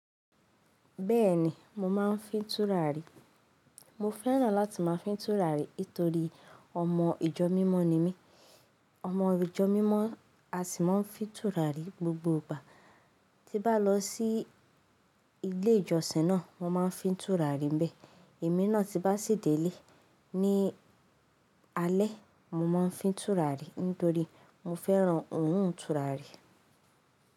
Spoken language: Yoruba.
Bẹ́ẹ̀ ni, mo máa ń fín tùràrí. Mo fẹ́ràn láti máa fín tùràrí nítorí ọmọ ìjọ mímọ ni mí. Ọmọ ìjọ mímọ, a sì máa ń fín tùràrí gbogbo ìgbà. Tí bá lọ sí ilé ìjọsìn náà, wọ́n máa ń fín tùràrí níbẹ̀. Èmi náà tí bá sì délé ní alẹ́, mo máa ń fín tùràrí nítorí mo fẹ́ràn òhún tùràrí.